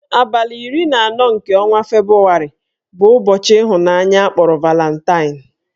Abalị iri na anọ nke ọnwa Febrụwarị bụ ụbọchị ịhụnanya akpọrọ Valantain